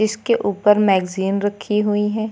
इसके ऊपर मैगजीन रखी हुई है।